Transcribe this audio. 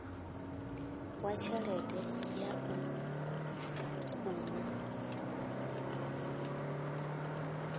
wa tshelede ya u unḓa